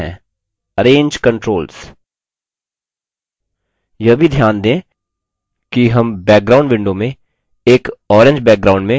यह भी ध्यान दें कि हम background window में एक orange background में books table देख सकते हैं